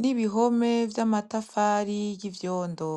n'ibihome vy'amatafari y'ivyondo.